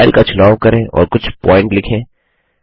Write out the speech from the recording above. style का चुनाव करें और कुछ प्वॉइंट लिखें